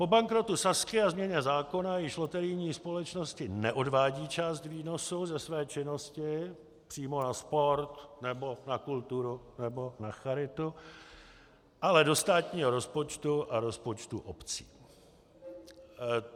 Po bankrotu Sazky a změně zákona již loterijní společnosti neodvádí část výnosu ze své činnosti přímo na sport nebo na kulturu nebo na charitu, ale do státního rozpočtu a rozpočtu obcí.